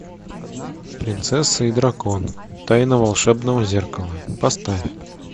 принцесса и дракон тайна волшебного зеркала поставь